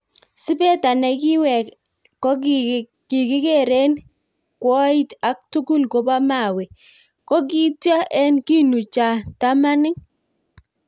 Sipeta ne kiwek ko kigeren kwoit ak tugul kobo mawe, ko kityo en kinu cha tamanik.